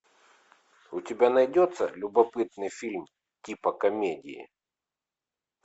у тебя найдется любопытный фильм типа комедии